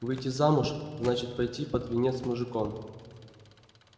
выйти замуж значит пойти под венец с мужиком